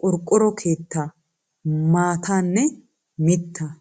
qorqqoro keettaa, maataanne mittaa.